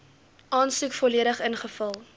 aansoek volledig ingevul